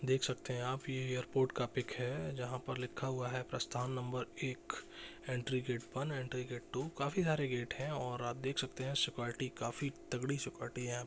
देख सकते है आप ये एयरपोर्ट का पिक है। जहाँ पर लिखा हुआ है प्रस्थान नबर एक entry gate one entry gate two काफी सारे गेट है और आप देख सकते है सिक्युरिटी काफी तगड़ी सिक्युरिटी है यहाँ --